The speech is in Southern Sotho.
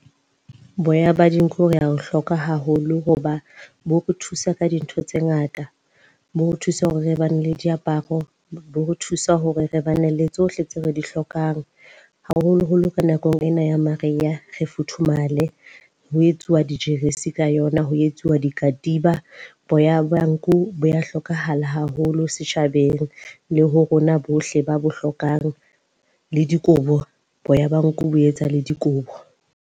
Boya ba dinku re a e hloka haholo hoba bo re thusa ka dintho tse ngata. Bo re thusa hore re ba ne le diaparo, bo re thusa hore re bane le tsohle tseo re di hlokang, haholoholo ka nakong ena ya mariha re futhumale. Ho etsuwa dijeresi ka yona, ho etsuwa dikatiba. Boya ba nku bo ya hlokahala haholo setjhabeng le ho rona bohle ba bo hlokang le dikobo, boya ba nku bo etsa le dikobo.